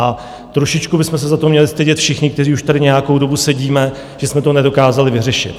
A trošičku bychom se za to měli stydět všichni, kteří už tady nějakou dobu sedíme, že jsme to nedokázali vyřešit.